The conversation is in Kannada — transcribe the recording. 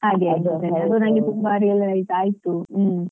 ಅದು ನನ್ಗೆ ತುಂಬ realise ಆಯ್ತು.